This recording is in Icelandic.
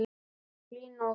Hlín og Hrönn.